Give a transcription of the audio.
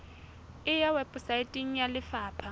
e ya weposaeteng ya lefapha